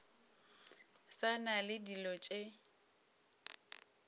sa na le dilo tše